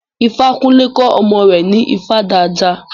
Ifakunle kọ́ ọmọ rẹ̀ ní ifá dídá.